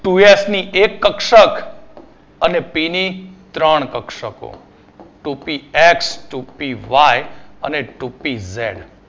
Two S ની એક કક્ષક ને પી ની ત્રણ કક્ષકો Two P X Two P Y અને Two P Z